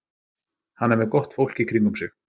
Hann er með gott fólk í kringum sig.